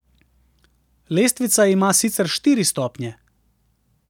Lestvica ima sicer štiri stopnje.